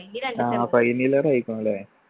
ആ final year ആയിക്കുണു ല്ലേ